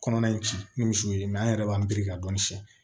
Kɔnɔna in ci ni misiw ye an yɛrɛ b'an biriki ka dɔnni siyɛn